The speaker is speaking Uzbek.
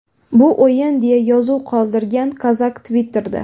Bu o‘yin”, deya yozuv qoldirgan Kozak Twitter’da.